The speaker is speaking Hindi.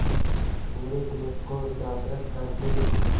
मेरे देश को जागृत कर दें